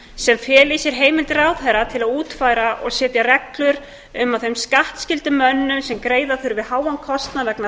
sem feli í sér heimildir ráðherra til að útfæra og setja reglur um að þeim skattskyldu mönnum sem greiða þurfi háan kostnað vegna